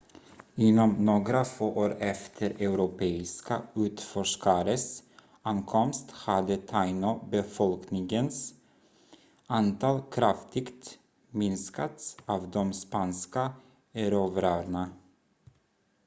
inom några få år efter europeiska utforskares ankomst hade taino-befolkningens antal kraftigt minskats av de spanska erövrarna